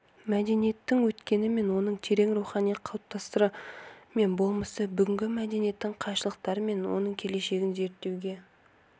мәдениеттің өткені оның терең рухани қыртыстары мен болмысы бүгінгі мәдениеттің кайшылықтары мен оның келешегін зерттеуге